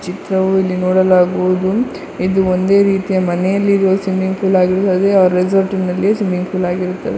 ಚಿತ್ರವು ಇಲ್ಲಿ ನೋಡಲಾಗುವುದು ಇದು ಒಂದೇ ರೀತಿಯ ಮನೆಯಲ್ಲಿ ಇರುವ ಸ್ವಿಮ್ಮಿಂಗ್ ಪೂಲ್ ಆಗಿರುತ್ತದೆ ಆ ರೆಸಾರ್ಟ್ನಲ್ಲಿ ಸ್ವಿಮ್ಮಿಂಗ್ ಪೂಲ್ ಆಗಿರುತ್ತದೆ.